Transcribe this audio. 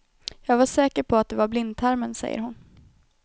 Jag var säker på att det var blindtarmen, säger hon.